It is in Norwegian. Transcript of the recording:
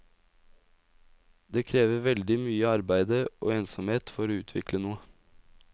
Det krever veldig mye arbeide og ensomhet for å utvikle noe.